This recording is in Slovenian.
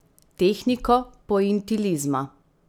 Tehniko pointilizma.